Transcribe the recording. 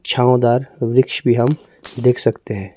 छांव दार वृक्ष हम देख सकते हैं।